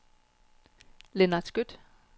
Lennart Skøtt